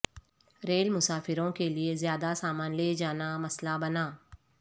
rail مسافروں کے لئے زیادہ سامان لے جانا مسئلہ بنا